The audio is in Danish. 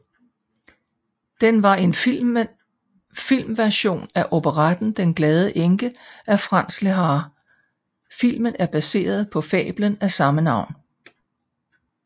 Den var en filmversion af operetten Den glade enke af Franz Lehár Filmen er baseret på fablen af samme navn